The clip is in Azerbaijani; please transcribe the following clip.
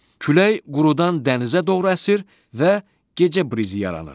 Külək qurudan dənizə doğru əsir və gecə brizi yaranır.